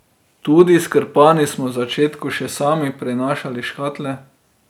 Tudi s Krpani smo v začetku še sami prenašali škatle.